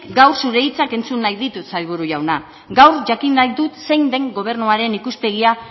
gaur zure hitzak entzun nahi ditut sailburu jauna gaur jakin nahi dut zein den gobernuaren ikuspegia